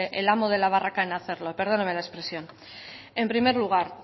es el amo de la barraca en hacerlo perdóneme la expresión en primer lugar